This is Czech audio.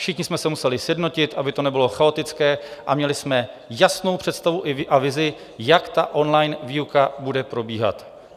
Všichni jsme se museli sjednotit, aby to nebylo chaotické, a měli jsme jasnou představu a vizi, jak on-line výuka bude probíhat.